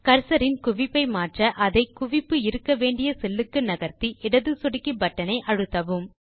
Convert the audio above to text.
cursor இன் குவிப்பை மாற்ற அதை குவிப்பு இருக்க வேண்டிய செல் க்கு நகர்த்தி இடது சொடுக்கி பட்டன் ஐ அழுத்தவும்